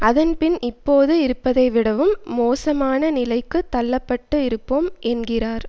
அதன்பின் இப்போது இருப்பதைவிடவும் மோசமான நிலைக்கு தள்ள பட்டு இருப்போம் என்கிறார்